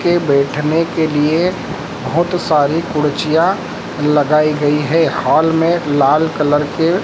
के बैठने के लिए बहोत सारी कुर्चियां लगाई गई है हॉल में लाल कलर के--